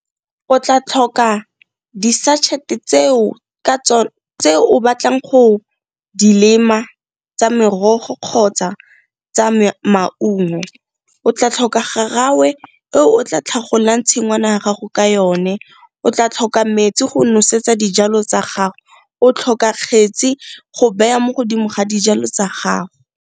O tla tlhoka di-sachet tse o batlang go dilema tsa merogo kgotsa tsa maungo. O tla tlhoka garawe e o tla tlhagolang tshingwana ya gago ka yone. O tla tlhoka metsi go nosetsa dijalo tsa gago, o tlhoka kgetsi go beya mo godimo ga dijalo tsa gago.